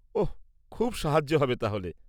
-ওঃ, খুব সাহায্য হবে তাহলে।